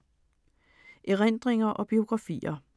Erindringer og biografier